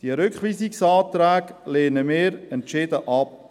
Diese Rückweisungsanträge lehnen wir entschieden ab.